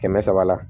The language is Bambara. Kɛmɛ saba la